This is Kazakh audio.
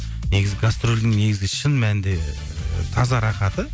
негізі гастрольдің негізгі шын мәнінде ы таза рахаты